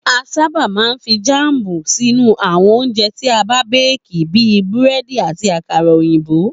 A sábà máa ń fi jáàmù sínú àwo̩n oúnje̩ tí a béèkì bí i búré̩dì àti àkàrà òyìnbò